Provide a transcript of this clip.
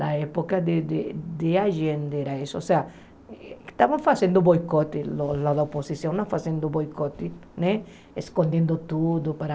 Na época da de de agenda era isso, ou seja, estavam fazendo boicote, a a oposição estava fazendo boicote né, escondendo tudo para...